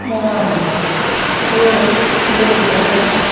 ਹਾਂ ਹੋਰ ਹੋ ਜਾਂਦਾ ਵਾ ਤੇ